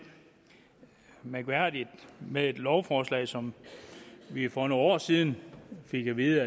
mærkværdigt med et lovforslag som vi for nogle år siden fik at vide